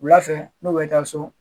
Wula fɛ n'o bɛ taa so.